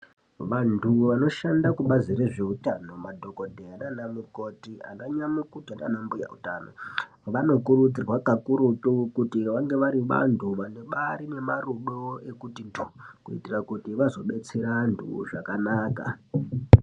Vantu vanoshanda kubasi rezvehutano madhokodheya nana mukoti ana nyamukuta nana hutano anokurudzirwa vari vantu vane marudo ekuti dhumankuitira kuti vanodetsera vantu zvakaanaka.